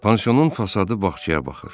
Pansionun fasadı bağçaya baxır.